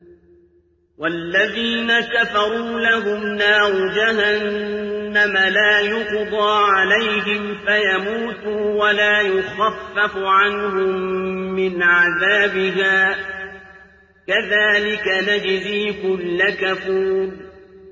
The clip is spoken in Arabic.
وَالَّذِينَ كَفَرُوا لَهُمْ نَارُ جَهَنَّمَ لَا يُقْضَىٰ عَلَيْهِمْ فَيَمُوتُوا وَلَا يُخَفَّفُ عَنْهُم مِّنْ عَذَابِهَا ۚ كَذَٰلِكَ نَجْزِي كُلَّ كَفُورٍ